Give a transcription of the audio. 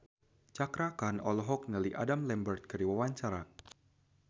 Cakra Khan olohok ningali Adam Lambert keur diwawancara